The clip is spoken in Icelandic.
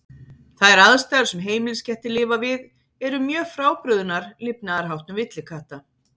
Þær aðstæður sem heimiliskettir lifa við eru mjög frábrugðnar lifnaðarháttum villikatta.